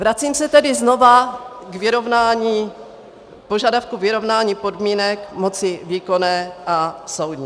Vracím se tedy znovu k požadavku vyrovnání podmínek moci výkonné a soudní.